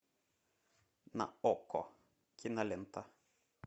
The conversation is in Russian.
на окко кинолента